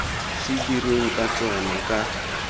se dirweng ka tsona ka